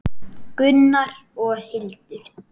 Gunnar og Hildur.